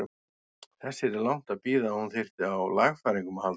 Þess yrði langt að bíða að hún þyrfti á lagfæringum að halda.